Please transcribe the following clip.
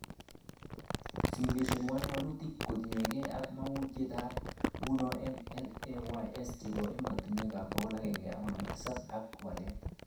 Simulation 1 walutik kotingee ak mogunetab nguni eng LAYS chebo ematinwek 157,ak walet